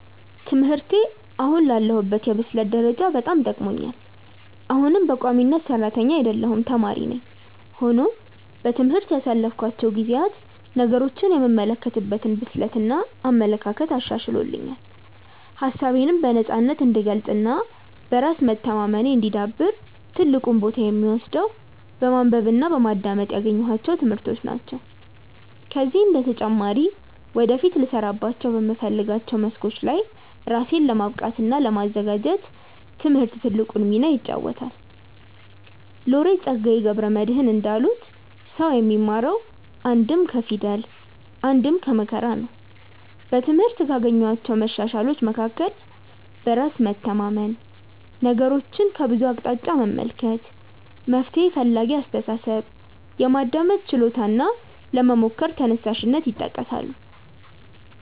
ትምህርቴ አሁን ላለሁበት የብስለት ደረጃ በጣም ጠቅሞኛል። አሁንም በቋሚነት ሰራተኛ አይደለሁም ተማሪ ነኝ። ሆኖም በትምህርት ያሳለፍኳቸው ጊዜያት ነገሮችን የምመለከትበትን ብስለት እና አመለካከት አሻሽሎልኛል። ሀሳቤነም በነፃነት እንድገልፅ እና በራስ መተማመኔ እንዲዳብር ትልቁን ቦታ የሚወስደው በማንበብ እና በማዳመጥ ያገኘኋቸው ትምህርቶች ናቸው። ከዚህም በተጨማሪ ወደፊት ልሰራባቸው በምፈልጋቸው መስኮች ላይ ራሴን ለማብቃት እና ለማዘጋጀት ትምህርት ትልቁን ሚና ይጫወታል። ሎሬት ፀጋዬ ገብረ መድህን እንዳሉት "ሰው የሚማረው አንድም ከፊደል አንድም ከመከራ ነው"።በትምህርት ካገኘኋቸው መሻሻሎች መካከል በራስ መተማመን፣ ነገሮችን ከብዙ አቅጣጫ መመልከት፣ መፍትሔ ፈላጊ አስተሳሰብ፣ የማዳመጥ ችሎታ እና ለመሞከር ተነሳሽነት ይጠቀሳሉ።